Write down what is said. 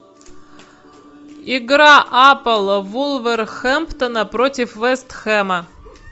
игра апл вулверхэмптона против вест хэма